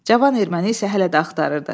Cavan erməni isə hələ də axtarırdı.